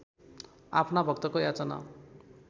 आफ्ना भक्तको याचना